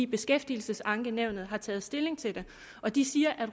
beskæftigelsesankenævnet har taget stilling til det og de siger at